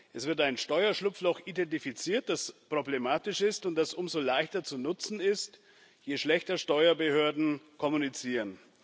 Es wird ein Steuerschlupfloch identifiziert, das problematisch ist und das umso leichter zu nutzen ist, je schlechter Steuerbehörden kommunizieren.